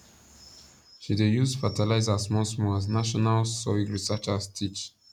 she dey use fertiliser smallsmall as national soil researchers teach